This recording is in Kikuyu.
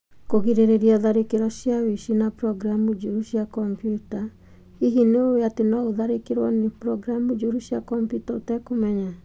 Kũgirĩrĩria tharĩkĩro cia ũici na programu njũru cia kompiuta: Hihi nĩ ũĩ atĩ no ũtharĩkĩrũo nĩ programu njũru cia kompiuta ũtekũmenya?